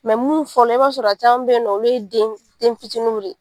minnu fɔlɔ la i b'a sɔrɔ caman bɛ yen nɔ olu ye den fitininw de